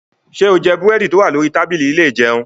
Ṣé o jẹ búrẹ́dì tó wà lórí tábìlì ilé ìjẹun?